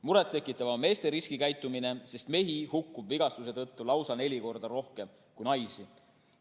Muret tekitav on meeste riskikäitumine, mehi hukkub vigastuse tõttu lausa neli korda rohkem kui naisi.